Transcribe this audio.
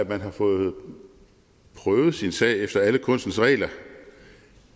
man har fået prøvet sin sag efter alle kunstens regler